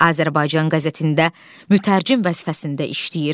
Azərbaycan qəzetində mütərcim vəzifəsində işləyir.